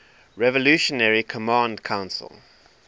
revolutionary command council